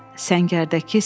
Səngərdəki səs.